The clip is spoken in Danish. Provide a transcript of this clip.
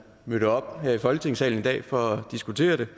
mødte op her i folketingssalen her i dag for at diskutere det